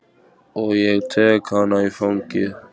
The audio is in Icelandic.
Og ég tek hana í fangið.